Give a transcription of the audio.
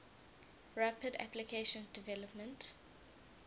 rapid application development